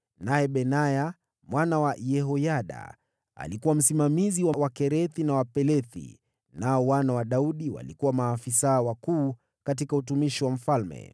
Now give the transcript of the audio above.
naye Benaya mwana wa Yehoyada alikuwa msimamizi wa Wakerethi na Wapelethi; nao wana wa Daudi walikuwa maafisa wakuu katika utumishi wa mfalme.